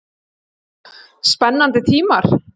Spennandi tímar?